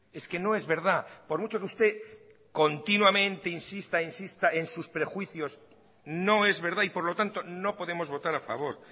es que no es verdad por mucho que usted continuamente insista e insista en sus prejuicios no es verdad y por lo tanto no podemos votar a favor